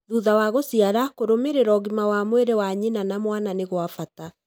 Thutha wa gũciara, kũrũmĩrĩra ũgima wa mwĩrĩ mwa nyina na mwana nĩ gwa bata.